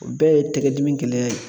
O bɛɛ ye tɛgɛdimi gɛlɛya ye.